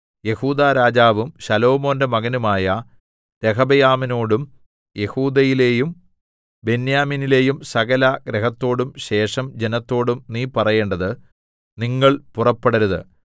യെഹൂദാരാജാവും ശലോമോന്റെ മകനുമായ രെഹബെയാമിനോടും യെഹൂദയിലേയും ബെന്യാമീനിലേയും സകല ഗൃഹത്തോടും ശേഷം ജനത്തോടും നീ പറയേണ്ടത് നിങ്ങൾ പുറപ്പെടരുത്